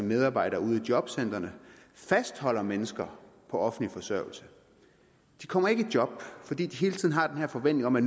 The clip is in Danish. medarbejdere ude jobcentrene fastholder mennesker på offentlig forsørgelse de kommer ikke i job fordi de hele tiden har den her forventning om at